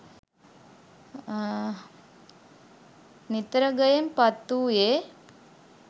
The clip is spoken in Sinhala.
නිතරගයෙන් පත් වූයේ